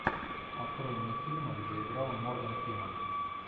открой мне фильмы где играл морган фриман